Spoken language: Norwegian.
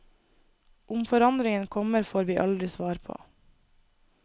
Om forandringen kommer, får vi aldri svar på.